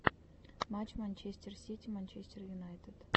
матч манчестер сити манчестер юнайтед